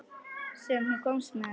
Sem þú komst með.